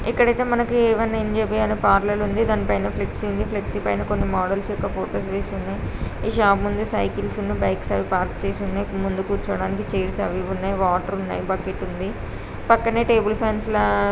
ఇక్కడైతే మనకి ఇవన్నీ ఎం_జె_బి అనే పార్లర్ ఉంది. దానిపైన ఫ్లెక్సీ ఉంది. ఫ్లెక్సీ పైన కొన్ని మోడల్స్ యొక్క ఫొటోస్ వేసి ఉన్నాయి. ఈ షాప్ ముందు సైకిల్స్ ఉన్ను బైక్స్ అవి పార్క్ చేసి ఉన్నాయి. ముందు కూర్చోవడానికి చైర్స్ అవి ఇవి ఉన్నాయి. వాటర్ ఉన్నాయి. బకెట్ ఉంది. పక్కనే టేబుల్ పెన్సిల్.